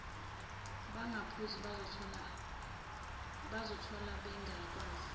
bengaphuzi bazithola bengakwazi